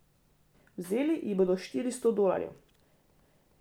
Vzeli ji bodo štiristo dolarjev.